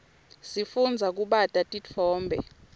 sifundza kubata titfombe